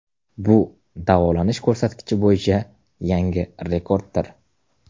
Bu davolanish ko‘rsatkichi bo‘yicha yangi rekorddir .